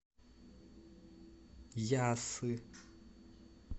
яссы